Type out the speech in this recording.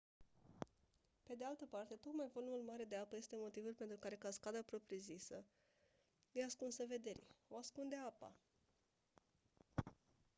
pe de altă parte tocmai volumul mare de apă este motivul pentru care cascada propriu-zisă e ascunsă vederii o ascunde apa